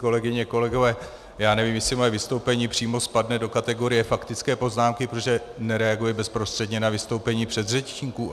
Kolegyně, kolegové, já nevím, jestli moje vystoupení přímo spadne do kategorie faktické poznámky, protože nereaguje bezprostředně na vystoupení předřečníků.